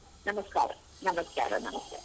ನಮಸ್ಕಾರ ನಮಸ್ಕಾರ ನಮಸ್ತೆ.